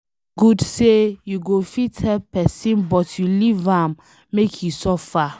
E no good say you go fit help pesin but you leave am make e suffer